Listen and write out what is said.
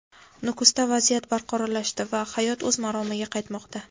Nukusda vaziyat barqarorlashdi va hayot o‘z maromiga qaytmoqda;.